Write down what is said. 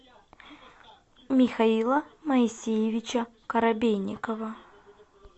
михаила моисеевича коробейникова